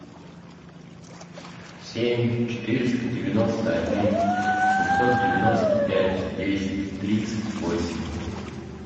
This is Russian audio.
семь четыреста девяносто один семьсот девяносто пять десять тридцать восемь